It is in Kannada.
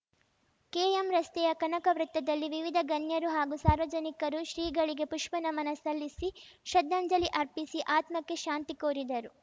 ಕೆಎಂ ರಸ್ತೆಯ ಕನಕ ವೃತ್ತದಲ್ಲಿ ವಿವಿಧ ಗಣ್ಯರು ಹಾಗೂ ಸಾರ್ವಜನಿಕರು ಶ್ರೀಗಳಿಗೆ ಪುಷ್ಪ ನಮನ ಸಲ್ಲಿಸಿ ಶ್ರದ್ಧಾಂಜಲಿ ಅರ್ಪಿಸಿ ಆತ್ಮಕ್ಕೆ ಶಾಂತಿ ಕೋರಿದರು